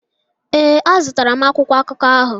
Ee, a zụtara m akwụkwọ akụkọ ahụ.